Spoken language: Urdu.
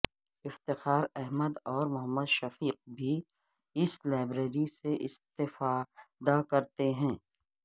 افتخار احمد اور محمد شفیق بھی اس لائبریری سے استفادہ کرتے ہیں